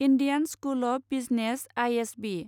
Indian School of Business I S B